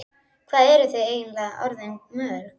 Hvað eruð þið eiginlega orðin mörg?